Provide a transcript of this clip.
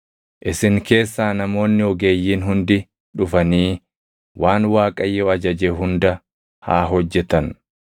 “Isin keessaa namoonni ogeeyyiin hundi dhufanii waan Waaqayyo ajaje hunda haa hojjetan: